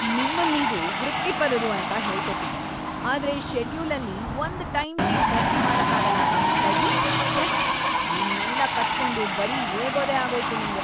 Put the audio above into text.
ನಿಮ್ಮನ್ನೀವು ವೃತ್ತಿಪರರು ಅಂತ ಹೇಳ್ಕೊತೀರಿ, ಆದ್ರೆ ಷೆಡ್ಯೂಲಲ್ಲಿ ಒಂದ್‌ ಟೈಮ್‌ಶೀಟ್ ಭರ್ತಿ ಮಾಡಕ್ಕಾಗಲ್ಲ ಅಲಾ ನಿಮ್ಕೈಲಿ, ಛೇ! ನಿಮ್ನೆಲ್ಲ ಕಟ್ಕೊಂಡು ಬರೀ ಏಗೋದೇ ಆಗೋಯ್ತು ನಂಗೆ.